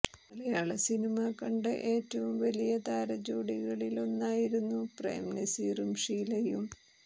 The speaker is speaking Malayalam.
മലയാള സിനിമ കണ്ട ഏറ്റവും വലിയ താരജോഡികളിലൊന്നായിരുന്നു പ്രേം നസീറും ഷീലയും